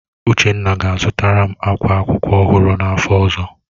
Uchenna ga-azụtara m akwa akwụkwọ ọhụrụ n'afọ ọzọ